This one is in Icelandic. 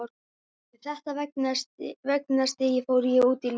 Með þetta veganesti fór ég út í lífið.